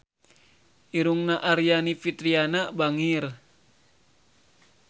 Irungna Aryani Fitriana bangir